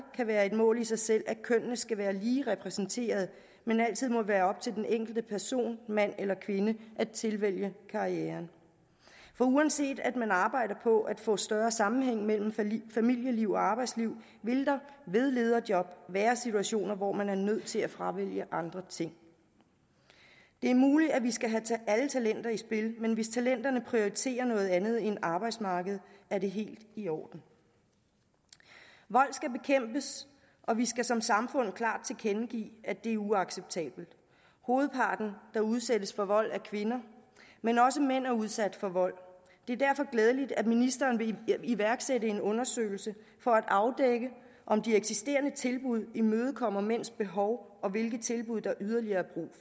kan være et mål i sig selv at kønnene skal være lige repræsenteret men altid må være op til den enkelte person mand eller kvinde at tilvælge karrieren for uanset at man arbejder på at få større sammenhæng mellem familieliv og arbejdsliv vil der ved lederjob være situationer hvor man er nødt til at fravælge andre ting det er muligt at vi skal have alle talenter i spil men hvis talenterne prioriterer noget andet end arbejdsmarkedet er det helt i orden vold skal bekæmpes og vi skal som samfund klart tilkendegive at det er uacceptabelt hovedparten der udsættes for vold er kvinder men også mænd er udsat for vold det er derfor glædeligt at ministeren vil iværksætte en undersøgelse for at afdække om de eksisterende tilbud imødekommer mænds behov og hvilke tilbud der yderligere er